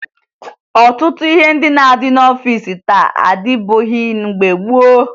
Ọtụtụ ihe ndị na-adị n'ọfiisi taa adịbughi mgbe gboo